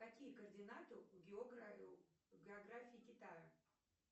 какие координаты у географии китая